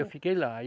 Eu fiquei lá.